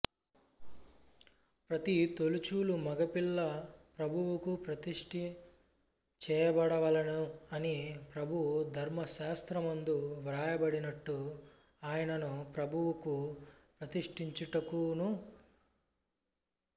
ప్రతి తొలిచూలు మగపిల్ల ప్రభువుకు ప్రతిష్ఠ చేయబడవలెను అని ప్రభువు ధర్మశాస్త్రమందు వ్రాయబడినట్టు ఆయ నను ప్రభువుకు ప్రతిష్ఠించుటకును